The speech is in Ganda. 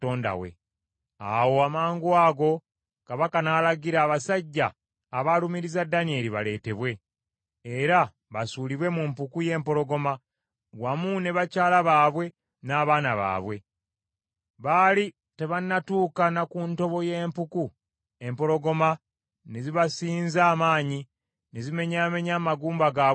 Awo amangwago kabaka n’alagira, abasajja abaalumiriza Danyeri baleetebwe, era basuulibwe mu mpuku y’empologoma, wamu ne bakyala baabwe n’abaana baabwe. Baali tebanatuuka na ku ntobo y’empuku, empologoma ne zibasinza amaanyi ne zimenyaamenya amagumba gaabwe gonna.